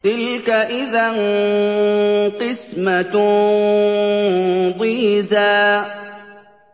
تِلْكَ إِذًا قِسْمَةٌ ضِيزَىٰ